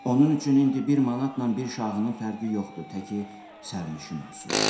Onun üçün indi bir manatla bir şahının fərqi yoxdur təki sərnişin olsun.